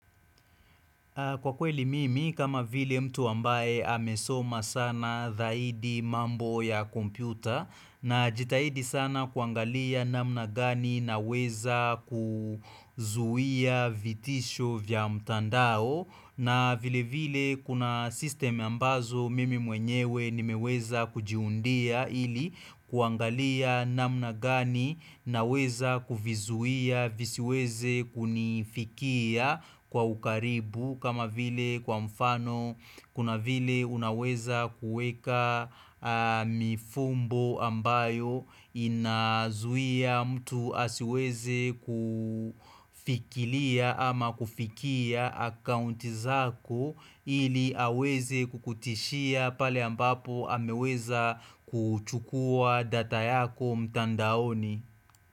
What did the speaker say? Kwa kweli mimi kama vile mtu ambaye amesoma sana dhaidi mambo ya kompyuta na jitahidi sana kuangalia namna gani na weza kuzuia vitisho vya mtandao na vile vile kuna system ambazo mimi mwenyewe nimeweza kujiundia ili kuangalia namna gani naweza kuvizuia visiweze kunifikia kwa ukaribu. Kama vile kwa mfano kuna vile unaweza kueka mifumbo ambayo inazuia mtu asiweze kufikilia ama kufikia akaunti zako ili aweze kukutishia pale ambapo ameweza kuchukua data yako mtandaoni.